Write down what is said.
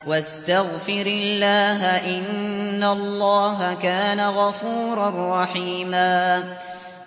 وَاسْتَغْفِرِ اللَّهَ ۖ إِنَّ اللَّهَ كَانَ غَفُورًا رَّحِيمًا